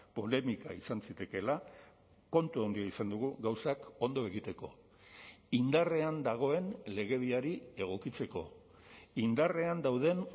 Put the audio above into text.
polemika izan zitekeela kontu handia izan dugu gauzak ondo egiteko indarrean dagoen legediari egokitzeko indarrean dauden